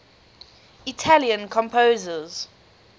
italian composers